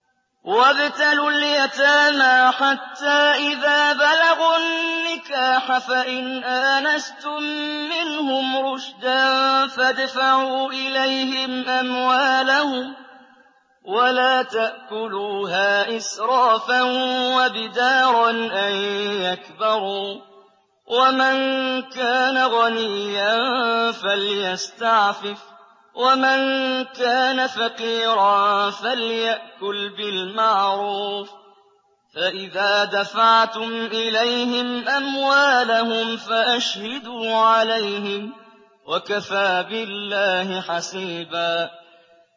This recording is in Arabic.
وَابْتَلُوا الْيَتَامَىٰ حَتَّىٰ إِذَا بَلَغُوا النِّكَاحَ فَإِنْ آنَسْتُم مِّنْهُمْ رُشْدًا فَادْفَعُوا إِلَيْهِمْ أَمْوَالَهُمْ ۖ وَلَا تَأْكُلُوهَا إِسْرَافًا وَبِدَارًا أَن يَكْبَرُوا ۚ وَمَن كَانَ غَنِيًّا فَلْيَسْتَعْفِفْ ۖ وَمَن كَانَ فَقِيرًا فَلْيَأْكُلْ بِالْمَعْرُوفِ ۚ فَإِذَا دَفَعْتُمْ إِلَيْهِمْ أَمْوَالَهُمْ فَأَشْهِدُوا عَلَيْهِمْ ۚ وَكَفَىٰ بِاللَّهِ حَسِيبًا